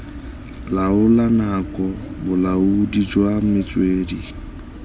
laola nako bolaodi jwa metswedi